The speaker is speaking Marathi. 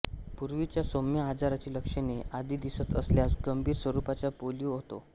पूर्वीच्या सौम्य आजाराची लक्षणे आधी दिसत असल्यास गंभीर स्वरूपाचा पोलिओ होतो